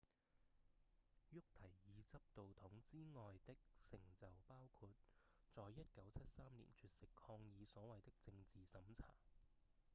沃提爾執導筒之外的成就包括在1973年絕食抗議所謂的政治審查